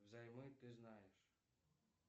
взаймы ты знаешь